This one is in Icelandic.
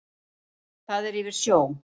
Það er yfir sjó.